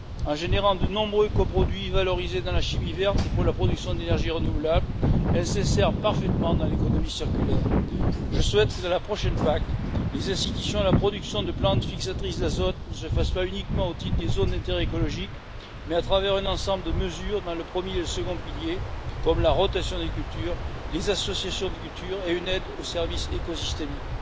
En générant de nombreux coproduits valorisés dans la chimie verte et pour la production d'énergies renouvelables, elles s'insèrent parfaitement dans l'économie circulaire. Je souhaite que dans la prochaine PAC, les incitations à la production de plantes fixatrices d'azote ne se fassent pas uniquement au titre des zones d'intérêt écologique, mais à travers un ensemble de mesures dans le premier et le second piliers, comme la rotation des cultures, les associations de cultures et une aide aux services écosystémiques.